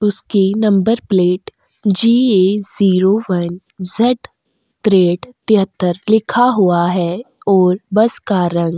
उसके number plate की GA zero one Z ट्रेड तेहतर लिखा हुआ है और बस का रंग --